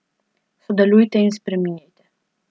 Sodelujte in spreminjajte.